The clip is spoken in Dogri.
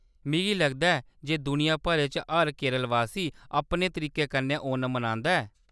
मिगी लगदा ऐ जे दुनिया भरै च हर केरलवासी अपने तरीके कन्नै ओणम मनांदा ऐ।